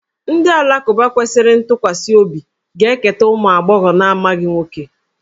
Ndị Alakụba kwesịrị ntụkwasị obi ga-eketa ụmụ agbọghọ na-amaghị nwoke